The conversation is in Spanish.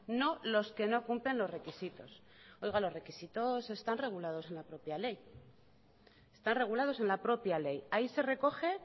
no los que no cumplen los requisitos oiga los requisitos están regulados en la propia ley están regulados en la propia ley ahí se recoge